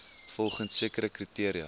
volgens sekere kriteria